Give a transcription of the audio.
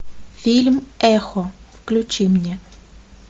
фильм эхо включи мне